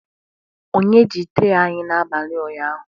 Onye ji tray anyị n'abalị ụnyaahụ?